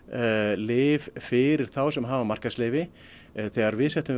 lyf fyrir þá sem hafa markaðsleyfi þegar við settum